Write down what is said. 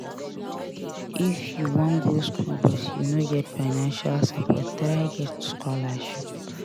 If you wan go skool but you no get financial support try get scholarship.